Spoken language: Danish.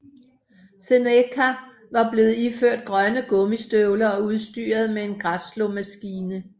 Seneca var blevet iført grønne gummistøvler og udstyret med en græsslåmaskine